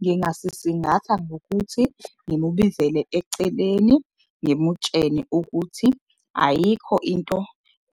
Ngingasisingatha ngokuthi ngimubizele eceleni ngimutshene ukuthi ayikho into